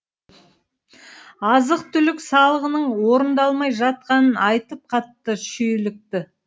азық түлік салығының орындалмай жатқанын айтып қатты шүйлікті